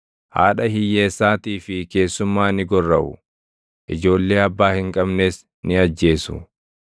Haadha hiyyeessaatii fi keessummaa ni gorraʼu; ijoollee abbaa hin qabnes ni ajjeesu.